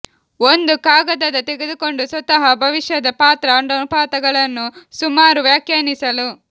ಒಂದು ಕಾಗದದ ತೆಗೆದುಕೊಂಡು ಸ್ವತಃ ಭವಿಷ್ಯದ ಪಾತ್ರ ಅನುಪಾತಗಳನ್ನು ಸುಮಾರು ವ್ಯಾಖ್ಯಾನಿಸಲು